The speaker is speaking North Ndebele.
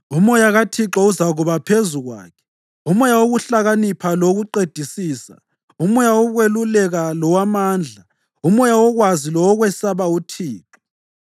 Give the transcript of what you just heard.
UMoya kaThixo uzakuba phezu kwakhe, uMoya wokuhlakanipha lowokuqedisisa, uMoya wokweluleka lowamandla, uMoya wokwazi lowokwesaba uThixo,